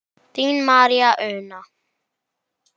Þín María Una.